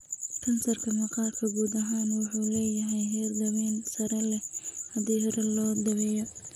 Kansarka maqaarku guud ahaan wuxuu leeyahay heer daweyn sare leh haddii hore loo daweeyo.